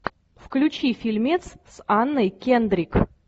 включи фильмец с анной кендрик